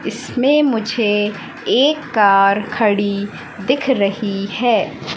इसमें मुझे एक कार खड़ी दिख रही है।